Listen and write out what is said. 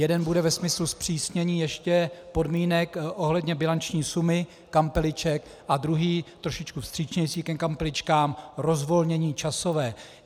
Jeden bude ve smyslu zpřísnění ještě podmínek ohledně bilanční sumy kampeliček a druhý trošičku vstřícnější ke kampeličkám, rozvolnění časové.